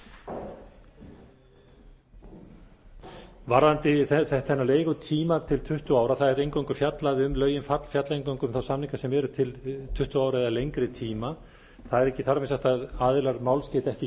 að gæta varðandi þennan leigutíma til tuttugu ára lögin fjalla eingöngu um þá samninga sem eru til tuttugu ára eða lengri tíma það er ekki þar með sagt að aðilar máls geti ekki